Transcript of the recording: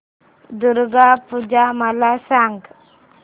दुर्गा पूजा मला सांग